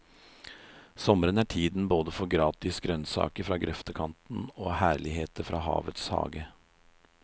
Sommeren er tiden både for gratis grønnsaker fra grøftekanten og herligheter fra havets hage.